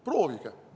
Proovige!